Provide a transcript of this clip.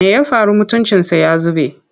Me ya faru mutuncinsa ya zube?